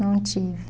Não tive.